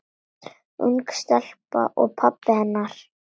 Ung stelpa og pabbi hennar.